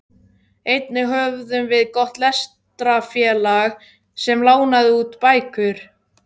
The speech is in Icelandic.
Einnig höfðum við gott lestrarfélag sem lánaði út bækur.